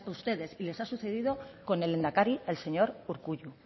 ustedes y les ha sucedido con el lehendakari el señor urkullu